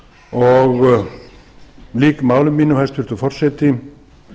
og lýk máli mínu hæstvirtur forseti